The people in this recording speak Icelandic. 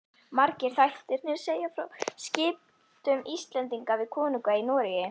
Margir þættirnir segja frá skiptum Íslendinga við konunga í Noregi.